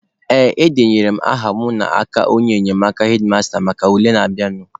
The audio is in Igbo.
Ee, edenyere m aha mụ n'aka onye enyemaka hedmasta maka ule na-abịanụ.